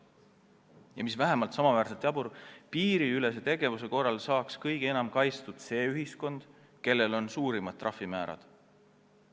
Ja mis on vähemalt sama jabur: piiriülese tegevuse korral saaks kõige enam kaitstud see ühiskond, kellel on suurimad trahvimäärad.